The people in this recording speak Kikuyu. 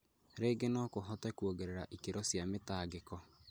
rĩingĩ no kũhote kuongerera ikĩro cia mĩtangĩko.